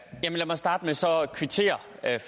at